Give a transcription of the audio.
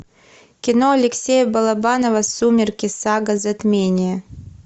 кино алексея балабанова сумерки сага затмение